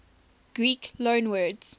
greek loanwords